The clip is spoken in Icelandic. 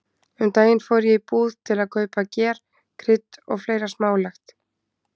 Um daginn fór ég í búð til að kaupa ger, krydd og fleira smálegt.